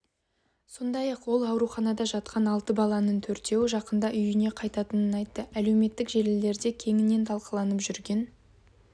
сондай-ақ ол ауруханада жатқан алты баланың төртеуі жақында үйіне қайтатынын айтты әлеуметтік желілерде кеңінен талқыланып жүрген